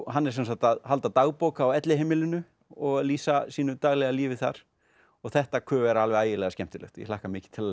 hann er sem sagt halda dagbók á elliheimilinu og lýsa sínu daglega lífi þar og þetta ku vera ægilega skemmtilegt ég hlakka mikið til